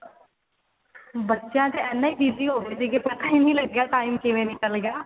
ਬੱਚਿਆਂ ਚ ਇੰਨੇ ਹੀ busy ਹੋ ਗਏ ਸੀਗੇ ਕੀ ਪਤਾ ਹੀ ਨਹੀ ਲੱਗਿਆ time ਕਿਵੇਂ ਨਿੱਕਲ ਗਿਆ